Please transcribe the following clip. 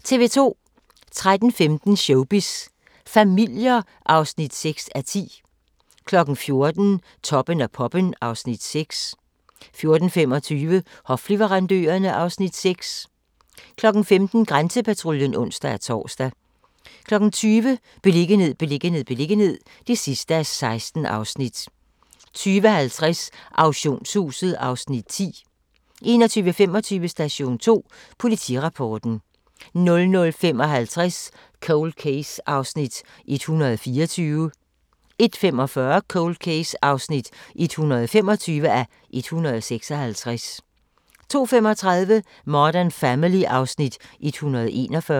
13:15: Showbiz familier (6:10) 14:00: Toppen af poppen (Afs. 6) 14:25: Hofleverandørerne (Afs. 6) 15:00: Grænsepatruljen (ons-tor) 20:00: Beliggenhed, beliggenhed, beliggenhed (16:16) 20:50: Auktionshuset (Afs. 10) 21:25: Station 2: Politirapporten 00:55: Cold Case (124:156) 01:45: Cold Case (125:156) 02:35: Modern Family (Afs. 141)